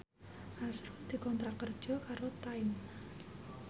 azrul dikontrak kerja karo Time